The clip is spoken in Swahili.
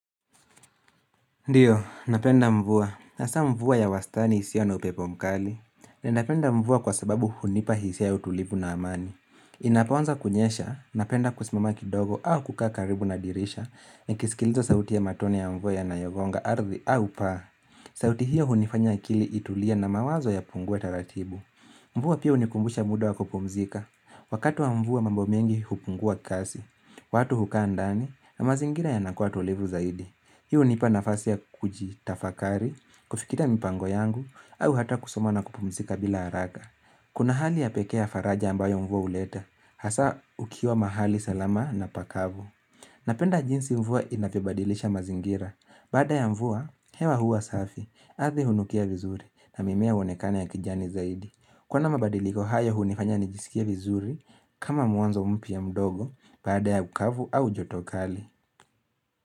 Ndiyo, napenda mvua. Hasa mvua ya wastani hisio na upepo mkali. Ninapenda mvua kwa sababu hunipa hisia ya utulivu na amani. Inapoanza kunyesha, napenda kusimama kidogo au kukaa karibu na dirisha nikisikiliza sauti ya matone ya mvua yanayogonga ardhi au paa. Sauti hiyo hunifanya akili itulie na mawazo yapungue taratibu. Mvua pia hunikumbusha muda wa kupumzika. Wakati wa mvua mambo mengi hupungua kazi. Watu hukaa ndani na mazingira yanakuwa tulivu zaidi. Hii hunipa nafasi ya kujitafakari, kufikiria mipango yangu, au hata kusoma na kupumzika bila haraka. Kuna hali ya pekee ya faraja ambayo mvua huleta, hasa ukiwa mahali salama na pakavu. Napenda jinsi mvua inavyobadilisha mazingira. Baada ya mvua, hewa huwa safi, ardhi hunukia vizuri na mimea uonekana ya kijani zaidi. Kuwa na mabadiliko haya hunifanya nijisikia vizuri, kama mwanzo mpya mdogo, baada ya ukavu au joto kali.